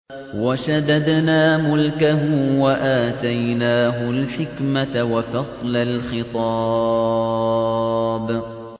وَشَدَدْنَا مُلْكَهُ وَآتَيْنَاهُ الْحِكْمَةَ وَفَصْلَ الْخِطَابِ